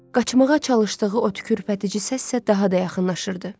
Qaçmağa çalışdığı o tükürpədici səs isə daha da yaxınlaşırdı.